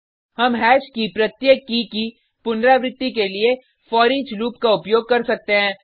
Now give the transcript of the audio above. हम हैश की प्रत्येक की की पुनरावृति के लिए फोरिच लूप का उपयोग कर सकते हैं